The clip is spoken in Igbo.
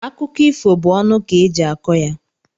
Akụkọ ifo bụ ọnụ ka eji akọ ya.